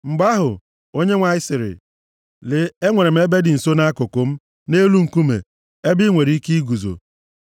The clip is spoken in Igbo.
Mgbe ahụ, Onyenwe anyị sịrị, “Lee, e nwere ebe dị nso nʼakụkụ m, nʼelu nkume, ebe i nwere ike iguzo.